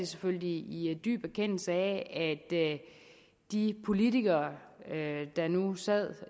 selvfølgelig i dyb erkendelse af at de politikere der nu sad